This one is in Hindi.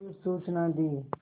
फिर सूचना दी